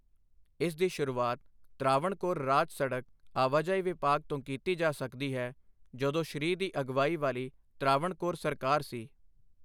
ਇਸ ਦੀ ਸ਼ੁਰੂਆਤ ਤ੍ਰਾਵਣਕੋਰ ਰਾਜ ਸੜਕ ਆਵਾਜਾਈ ਵਿਭਾਗ ਤੋਂ ਕੀਤੀ ਜਾ ਸਕਦੀ ਹੈ, ਜਦੋਂ ਸ਼੍ਰੀ ਦੀ ਅਗਵਾਈ ਵਾਲੀ ਤ੍ਰਾਵਣਕੋਰ ਸਰਕਾਰ ਸੀ।